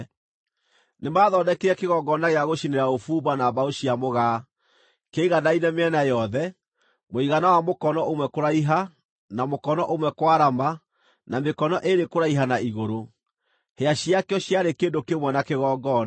Nĩmathondekire kĩgongona gĩa gũcinĩra ũbumba na mbaũ cia mũgaa. Kĩaiganaine mĩena yothe, mũigana wa mũkono ũmwe kũraiha, na mũkono ũmwe kwarama, na mĩkono ĩĩrĩ kũraiha na igũrũ. Hĩa ciakĩo ciarĩ kĩndũ kĩmwe na kĩgongona.